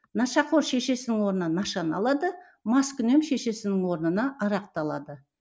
нашақор шешесінің орнына нашаны алады маскүнем шешесінің орнына арақты алады